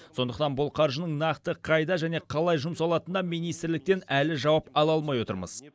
сондықтан бұл қаржының нақты қайда және қалай жұмсалатынына министрліктен әлі жауап ала алмай отырмыз